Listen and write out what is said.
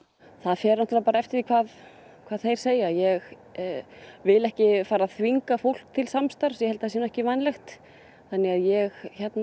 það fer eftir því hvað hvað þeir segja ég vil ekki fara að þvinga fólk il samstarfs ég held að það sé ekki vænlegt þannig að ég